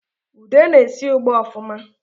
Ude na-esi ugba ọfụma